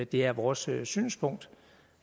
det er vores synspunkt